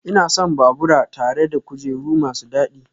Ina son babura tare da kujeru masu dadi